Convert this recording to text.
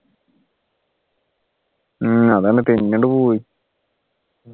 ഉം അതെന്നെ തെന്നിയാണ്ട് പോവും